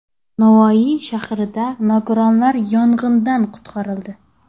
Navoiy shahrida nogironlar yong‘indan qutqarildi.